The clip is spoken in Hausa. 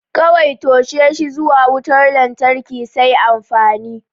Kawai toshe shi zuwa wutar lantarki sai amfani.